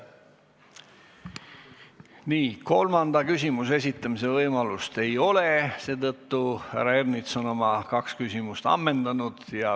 Nii, kolmanda küsimuse esitamise võimalust ei ole, härra Ernits on oma kaks küsimust ammendanud.